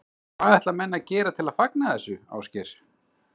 Hvað ætla menn að gera til að fagna þessu, Ásgeir?